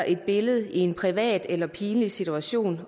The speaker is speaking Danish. et billede i en privat eller pinlig situation